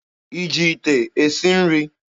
Ị ji ite esi nri?